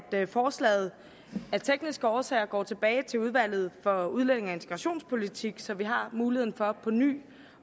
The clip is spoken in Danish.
forslaget af tekniske årsager går tilbage til udvalget for udlændinge og integrationspolitik så vi har muligheden for påny